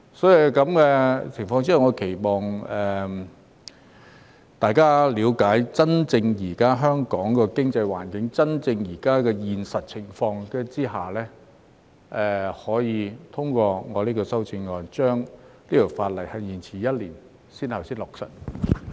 因此，我期望大家在了解香港現時真正的經濟環境及現實情況後，可以通過我的修正案，將這項法例延遲一年才落實。